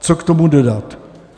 Co k tomu dodat.